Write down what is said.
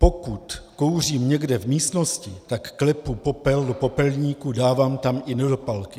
Pokud kouřím někde v místnosti, tak klepu popel do popelníku, dávám tam i nedopalky.